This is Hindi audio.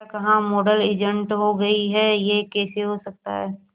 क्या कहा मॉडल इंजर्ड हो गई है यह कैसे हो सकता है